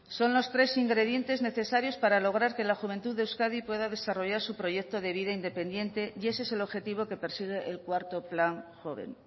son los tres ingredientes necesarios para lograr que la juventud de euskadi pueda desarrollar su proyecto de vida independiente y ese es el objetivo que persigue el cuarto plan joven